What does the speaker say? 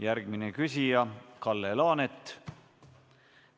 Järgmine küsija on Kalle Laanet.